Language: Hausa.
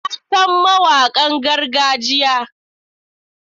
Na san mawakan gargajiya.